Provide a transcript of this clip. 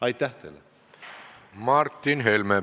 Martin Helme, palun!